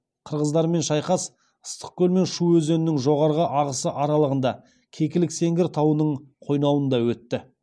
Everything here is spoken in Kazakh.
қырғыздармен шайқас ыстықкөл мен шу өзенінің жоғарғы ағысы аралығында кекілік сеңгір тауының қойнауында өтті